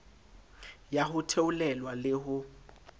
ya ho theolelwa le ho